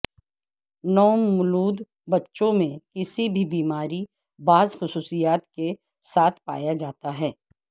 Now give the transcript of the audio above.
نومولود بچوں میں کسی بھی بیماری بعض خصوصیات کے ساتھ پایا جاتا ہے